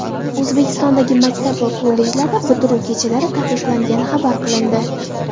O‘zbekistondagi maktab va kollejlarda bitiruv kechalari taqiqlangani xabar qilindi.